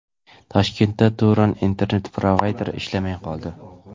Toshkentda Turon internet-provayderi ishlamay qoldi.